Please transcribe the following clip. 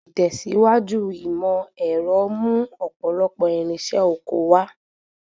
Ìtẹ̀síwájú ìmọ̀ ẹ̀rọ mú ọ̀pọ̀lọpọ̀ irinṣẹ́ oko wá.